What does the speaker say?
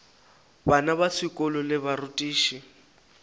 bana ba sekolo le barutiši